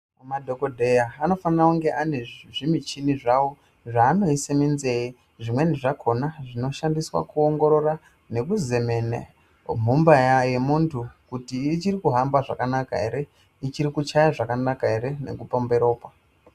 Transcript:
Madhokodheya anofanirwa kunge ane nezvimuchini zvawo zvaanoisa munzee zvimweni zvakona zvinoshandiswa kuongorora nekuzemene mumba yemundu kuti ichikuhamba zvakanaka ere ichiri kuchaya zvakanaka ere nekupomba ropa.